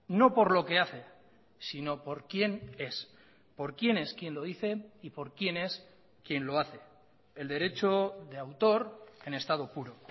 no por lo que hace sino por quién es por quién es quién lo dice y por quién es quién lo hace el derecho de autor en estado puro